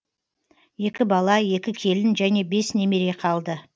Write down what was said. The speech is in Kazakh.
екі бала екі келін және бес немере қалды